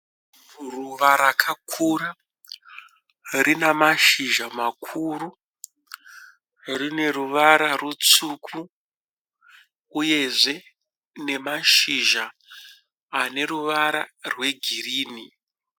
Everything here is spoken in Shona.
Ruva rakakura rinamashizha makuru. Rine ruvara rutsvuku uyezve nemashizha aneruvara rwegirinhi.